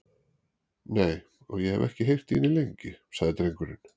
Nei, og ég hef ekki heyrt í henni lengi, sagði drengurinn.